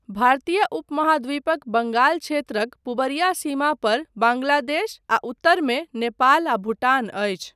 भारतीय उपमहाद्वीपक बङ्गाल क्षेत्रक पुबरिया सीमा पर बाङ्गलादेश आ उत्तरमे नेपाल आ भूटान अछि।